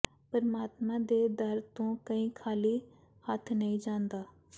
ਪਰਮਾਤਮਾ ਦੇ ਦਰ ਤੋਂ ਕੋਈ ਖਾਲੀ ਹੱਥ ਨਹੀਂ ਜਾਂਦਾ